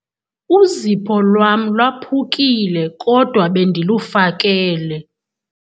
Uzipho lwam lwaphukile kodwa bendilufakele.